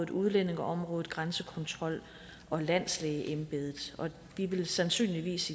udlændingeområdet grænsekontrol og landslægeembedet vi vil sandsynligvis